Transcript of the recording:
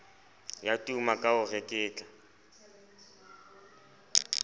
ya tuma ka ho reketla